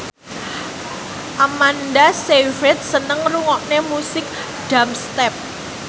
Amanda Sayfried seneng ngrungokne musik dubstep